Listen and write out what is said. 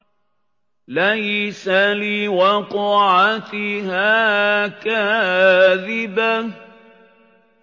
لَيْسَ لِوَقْعَتِهَا كَاذِبَةٌ